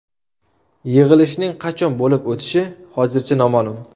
Yig‘ilishning qachon bo‘lib o‘tishi hozircha noma’lum.